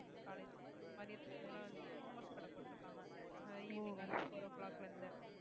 college மதியத்துக்கு மேல வந்து momos கடை போட்டிருக்காங்க ஆஹ் evening வந்து four o clock ல இருந்து